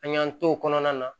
An y'an t'o kɔnɔna na